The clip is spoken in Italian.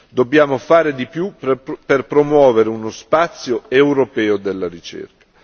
Dobbiamo fare di più per promuovere uno spazio europeo della ricerca.